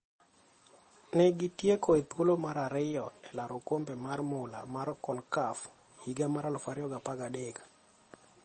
Ne gi tieko e thuolo mar ariyo e laro okombe mar mula mar Concacaf higa mar 2013.